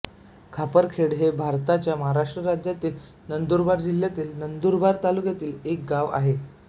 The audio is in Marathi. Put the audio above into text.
खापरखेडे हे भारताच्या महाराष्ट्र राज्यातील नंदुरबार जिल्ह्यातील नंदुरबार तालुक्यातील एक गाव आहे